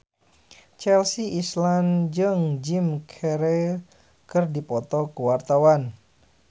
Chelsea Islan jeung Jim Carey keur dipoto ku wartawan